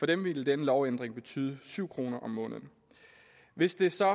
dem ville denne lovændring betyde syv kroner mere om måneden hvis det så